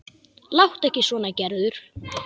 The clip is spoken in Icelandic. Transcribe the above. Láttu ekki svona Gerður.